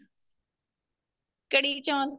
ਕੜੀ ਚੋਲ